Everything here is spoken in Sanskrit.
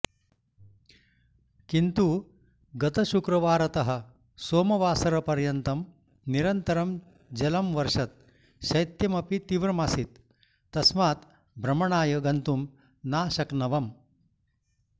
किन्तु गतशुक्रवारतः सोमवासरपर्यन्तं निरन्तरं जलमवर्षत् शैत्यमपि तीव्रमासीत् तस्मात् भ्रमणाय गन्तुं नाशक्नवम्